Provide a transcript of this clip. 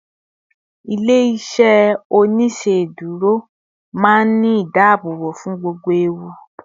ilé iṣẹ oniṣeduro ma n Ni ìdáàbòbò fún gbogbo ẹwù